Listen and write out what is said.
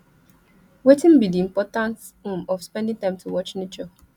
wetin be di importance um of spending time to watch nature